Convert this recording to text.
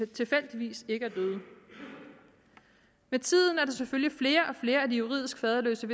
tilfældigvis ikke er døde med tiden er der selvfølgelig flere og flere af de juridisk faderløse